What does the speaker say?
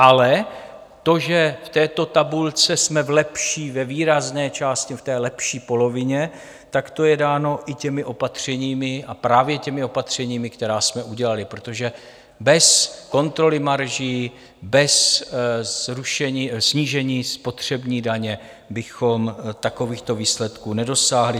Ale to, že v této tabulce jsme v lepší, ve výrazné části v té lepší polovině, tak to je dáno i těmi opatřeními a právě těmi opatřeními, která jsme udělali, protože bez kontroly marží, bez snížení spotřební daně bychom takovýchto výsledků nedosáhli.